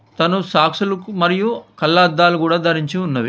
తను సాక్షులకు మరియు కళ్ల అద్దాలు కూడా ధరించి ఉన్నవి.